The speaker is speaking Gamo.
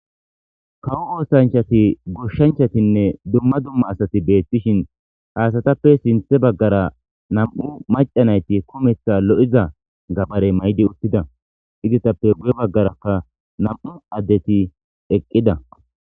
Kawo oosanchchattinne gooshshachchatinne dumma dumma asati bettishe dishin ha asatappe sinththe baggara nam'u maca naytti kumeththa lo'oiza gabare mayidi uttida izateappe guye baggarakka nam'u dettikka eqida